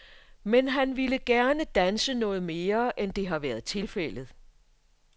Men han ville gerne danse noget mere, end det har været tilfældet.